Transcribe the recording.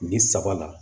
Nin saba la